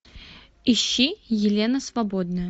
ищи елена свободная